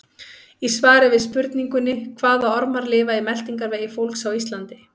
Í svari við spurningunni Hvaða ormar lifa í meltingarvegi fólks á Íslandi?